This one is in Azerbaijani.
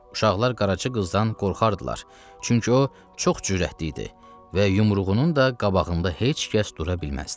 Uşaqlar qaraca qızdan qorxardılar, çünki o çox cürətli idi və yumruğunun da qabağında heç kəs dura bilməzdi.